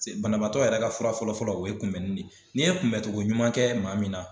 banabaatɔ yɛrɛ ka fura fɔlɔ fɔlɔ o ye kunbɛnni de ye n'i ye kunbɛncogo ɲuman kɛ maa min na